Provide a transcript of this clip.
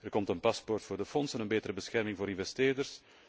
Er komt een paspoort voor de fondsen en een betere bescherming voor investeerders.